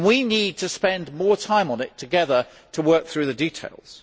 We need to spend more time on it together to work through the details.